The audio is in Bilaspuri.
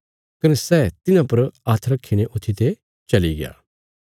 कने सै तिन्हां पर हात्थ रखीने ऊत्थीते चलिग्या